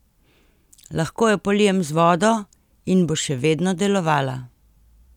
Lahko jo polijem z vodo in bo še vedno delovala!